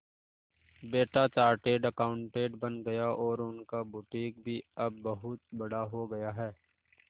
बेटा chartered accountant बन गया और उनका बुटीक भी अब बहुत बड़ा हो गया है